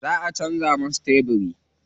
Za a canza musu tebiri.